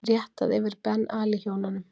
Réttað yfir Ben Ali hjónunum